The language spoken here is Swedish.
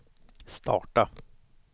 starta